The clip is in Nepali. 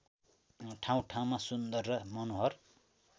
ठाउँठाउँमा सुन्दर र मनोहर